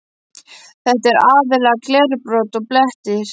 Þetta er aðallega glerbrot og blettir.